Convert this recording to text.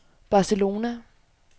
Barcelona